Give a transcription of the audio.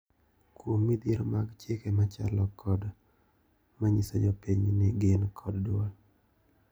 Kuom midhiero mag chike machalo kod ma nyiso jopiny ni gin kod duol.